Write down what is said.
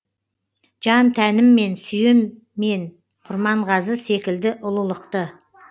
жан тәніммен сүйем мен құрманғазы секілді ұлылықты